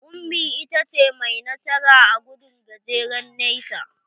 Ummi ita ta ce mai nasara a gudun gajeren nesa.